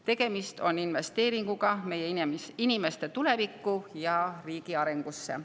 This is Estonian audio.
Tegemist on investeeringuga meie inimeste tulevikku ja riigi arengusse.